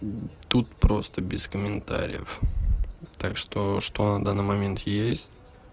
тут просто без комментариев так что что на данный момент есть